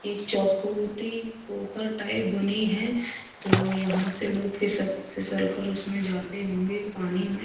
एक चखोटी पोखर टाइप बनी है तो यहाँ से लोंग फिसल फिसलकर उसमे जाते होंगे पानी में --